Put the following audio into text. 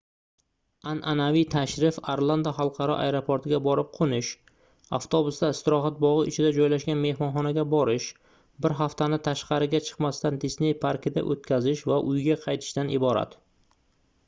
anʼanaviy tashrif orlando xalqaro aeroportiga borib qoʻnish avtobusda istirohat bogʻi ichida joylashgan mehmonxonaga borish bir haftani tashqariga chiqmasdan disney parkida oʻtkazish va uyga qaytishdan iborat